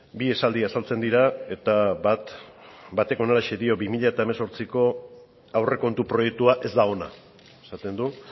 bi esaldi azaltzen dira eta bat batek honelaxe dio bi mila hemezortziko aurrekontu proiektua ez da ona esaten du